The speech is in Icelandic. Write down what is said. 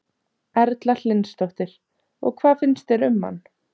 Erla Hlynsdóttir: Og hvað finnst þér um hann?